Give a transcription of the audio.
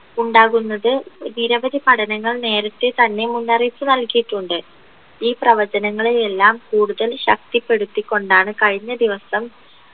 ഉണ്ടാകുന്നത് നിരവധി പഠനങ്ങൾ നേരത്തെ തന്നെ മുന്നറിയിപ്പ് നൽകിയിട്ടുണ്ട് ഈ പ്രവർത്തനങ്ങളെയെല്ലാം കൂടുതൽ ശക്തിപെടുത്തിക്കൊണ്ടാണ് കഴിഞ്ഞ ദിവസം